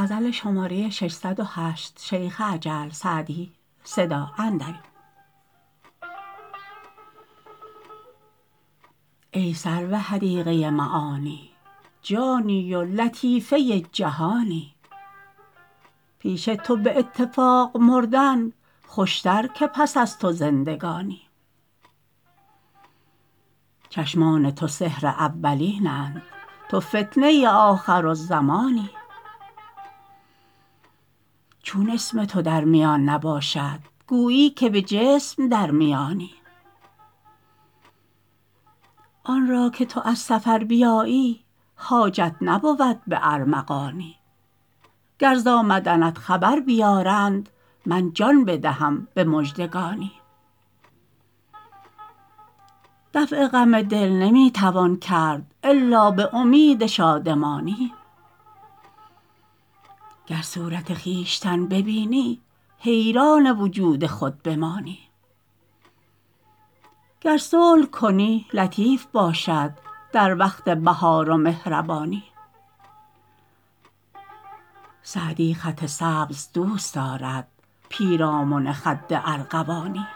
ای سرو حدیقه معانی جانی و لطیفه جهانی پیش تو به اتفاق مردن خوشتر که پس از تو زندگانی چشمان تو سحر اولین اند تو فتنه آخرالزمانی چون اسم تو در میان نباشد گویی که به جسم در میانی آن را که تو از سفر بیایی حاجت نبود به ارمغانی گر ز آمدنت خبر بیارند من جان بدهم به مژدگانی دفع غم دل نمی توان کرد الا به امید شادمانی گر صورت خویشتن ببینی حیران وجود خود بمانی گر صلح کنی لطیف باشد در وقت بهار و مهربانی سعدی خط سبز دوست دارد پیرامن خد ارغوانی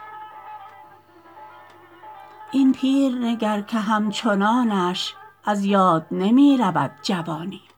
این پیر نگر که همچنانش از یاد نمی رود جوانی